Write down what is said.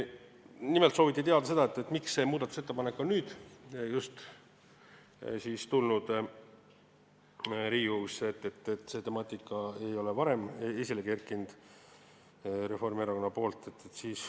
Nimelt sooviti teada, miks see muudatusettepanek on just nüüd Riigikogusse tulnud, miks seda temaatikat ei ole Reformierakond varem esile toonud.